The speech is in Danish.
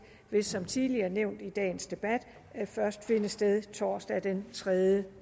som tidligere nævnt i dagens debat først vil finde sted torsdag den tredje